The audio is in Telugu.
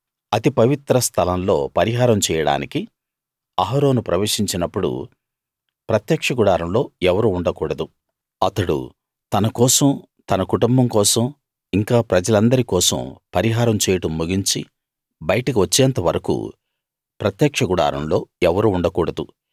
అతి పవిత్ర స్థలం లో పరిహారం చేయడానికి అహరోను ప్రవేశించినప్పుడు ప్రత్యక్ష గుడారంలో ఎవరూ ఉండకూడదు అతడు తన కోసం తన కుటుంబం కోసం ఇంకా ప్రజలందరి కోసం పరిహారం చేయడం ముగించి బయటకి వచ్చేంత వరకూ ప్రత్యక్ష గుడారంలో ఎవరూ ఉండకూడదు